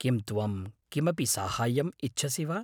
किं त्वं किमपि साहाय्यम् इच्छसि वा?